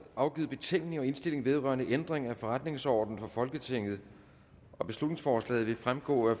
afgivet betænkning og indstilling vedrørende ændring af forretningsorden for folketinget beslutningsforslaget vil fremgå af